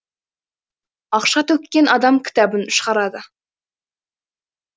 ақша төккен адам кітабын шығарады